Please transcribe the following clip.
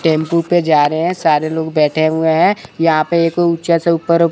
tempo पे जा रहे हैं सारे लोग बैठे हुए हैं यहां पे एक ऊंचा से ऊपर--